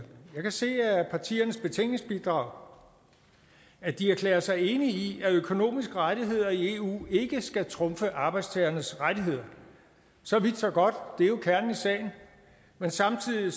jeg kan se af partiernes betænkningsbidrag at de erklærer sig enige i at økonomiske rettigheder i eu ikke skal trumfe arbejdstagernes rettigheder så vidt så godt det er jo kernen i sagen men samtidig